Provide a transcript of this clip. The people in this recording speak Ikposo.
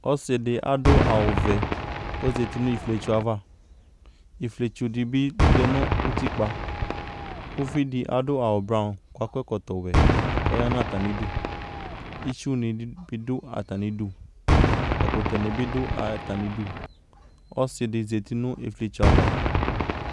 Ɔsɩdɩ adʋ awʋvɛ k'ozati n'ifiotso ava ; ifiotsodɩ bɩ lɛ nʋ utikpa Uvidɩ adʋ awublɔ k'akɔ ɛkɔtɔwɛ k'ɔya n'atamidu IItsunɩ bɩ dʋ atamidu , ɛkʋtɛnɩ bɩ dʋ atamidu ; k'ɔsɩdɩ zati nʋ ifiotso ava